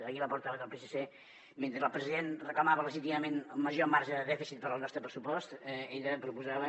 ahir la portaveu del psc mentre el president reclamava legítimament major marge de dèficit per al nostre pressupost ella proposava